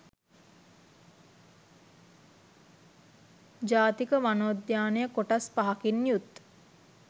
ජාතික වනෝද්‍යානය කොටස්‌ පහකින් යුත්